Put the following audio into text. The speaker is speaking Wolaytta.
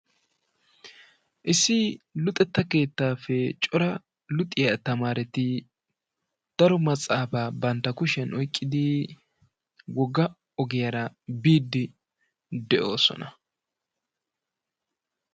Issi luxetta keettaappe cora luxiya tamaereti daro matsaafaa bantta kushshiyaan oyqqidi wogga ogiyaara biidi de'oosona.